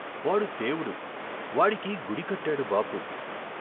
వాడు దేవుడు, వాడికి గుడికట్టాడు బాపు.